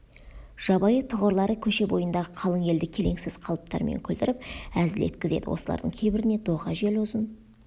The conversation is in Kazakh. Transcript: жабайы тұғырлары көше бойындағы қалың елді келеңсіз қалыптарымен күлдіріп әзіл еткізеді осылардың кейбіріне доға жел ұзын